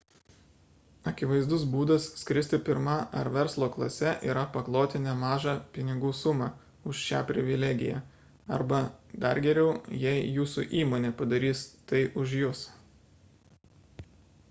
akivaizdus būdas skristi pirma ar verslo klase yra pakloti nemažą pinigų sumą už šią privilegiją arba dar geriau jei jūsų įmonė padarys tai už jus